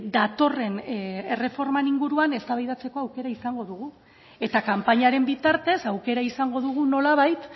datorren erreformaren inguruan eztabaidatzeko aukera izango dugu eta kanpainaren bitartez aukera izango dugu nolabait